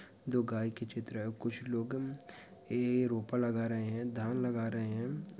दो गाय के चित्र है और कुछ लोग ए रोपा लगा रहे हैं धान लगा रहे हैं।